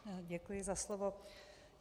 Děkuji za slovo.